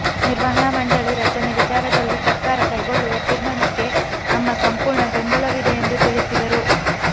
ನಿರ್ವಹಣಾ ಮಂಡಳಿ ರಚನೆ ವಿಚಾರದಲ್ಲಿ ಸರ್ಕಾರ ಕೈಗೊಳ್ಳುವ ತೀರ್ಮಾನಕ್ಕೆ ನಮ್ಮ ಸಂಪೂರ್ಣ ಬೆಂಬಲವಿದೆ ಎಂದು ತಿಳಿಸಿದರು